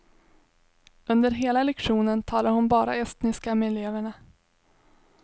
Under hela lektionen talar hon bara estniska med eleverna.